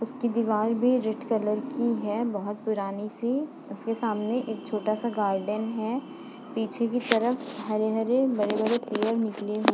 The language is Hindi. उसकी दीवार भी रेड कलर की है बहुत पुरानी- सी उसके सामने एक छोटा -सा गार्डन है पीछे की तरफ हरे- हरे बड़े-बड़े पेड़ निकले हुए --